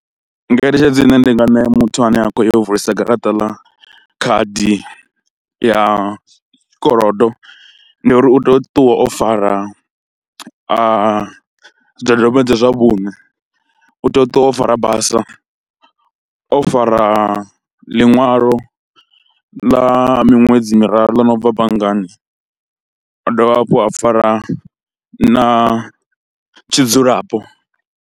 Ngeletshedzo ine ndi nga ṋea muthu ane a khou vulisa garaṱa ḽa khadi ya tshikolodo ndi uri u tea u ṱuwa o fara a zwidodombedzwa zwa vhuṋe, u tea u ṱuwa o fara basa, o fara ḽiṅwalo ḽa miṅwedzi miraru ḽo no bva banngani, a dovha hafhu a fara na tshidzulapo.